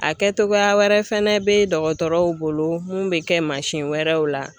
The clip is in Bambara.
A kɛ togoya wɛrɛ fɛnɛ bɛ dɔgɔtɔrɔw bolo mun bɛ kɛ mansin wɛrɛw la.